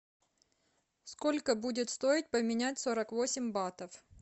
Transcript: сколько будет стоить поменять сорок восемь батов